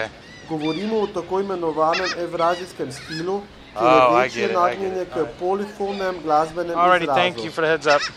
Govorimo o tako imenovanem evrazijskem stilu, kjer je večje nagnjenje k polifonem glasbenem izrazu.